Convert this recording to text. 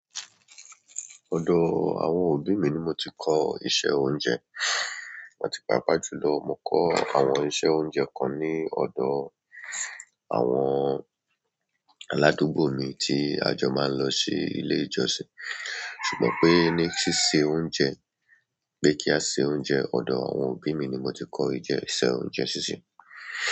Ọ̀dọ àwọn òbí mi ni mo ti kọ́ iṣẹ́ oúnjẹ. Àti pàápàá jùlọ, mo kọ àwọn iṣẹ́ oúnjẹ kan ní ọ̀dọ àwọn aládùúgbò mi tí a jọ máa ń lọ sí ilé ìjọsìn. Ṣùgbọ́n pé ní síse oúnjẹ pé kí a se oúnjẹ, ọ̀dọ àwọn òbí mi ni ni mo ti kọ́ ìjẹ iṣẹ́ oúnjẹ sísè.